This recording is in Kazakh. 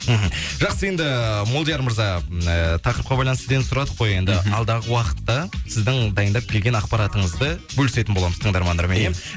мхм жақсы енді ііі молдияр мырза і тақырыпқа байланысты сізден сұрадық қой енді мхм алдағы уақытта сіздің дайындап келген ақпаратыңызды бөлісетін боламыз тыңдармандармен ия